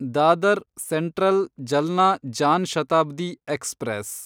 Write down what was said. Dadar central Jalna Jan Shatabdi express